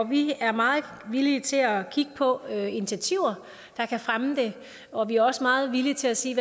vi er meget villige til at kigge på initiativer der kan fremme det og vi er også meget villige til at se